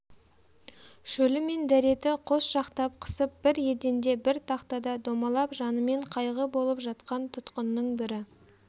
шөлі мен дәреті қос жақтап қысып бір еденде бір тақтада домалап жанымен қайғы болып жатқан тұтқынның бірі